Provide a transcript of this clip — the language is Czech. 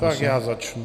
Tak já začnu...